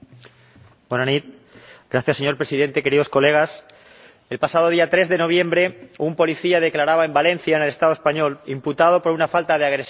Señor Presidente, el pasado día 3 de noviembre un policía declaraba en Valencia, en el Estado español, imputado por una falta de agresiones contra menores argelinos.